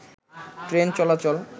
train চলাচল